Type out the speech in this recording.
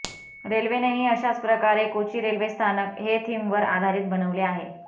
रेल्वेनेही अशाच प्रकारे कोची रेल्वे स्थानक हे थीमवर आधारीत बनवले आहे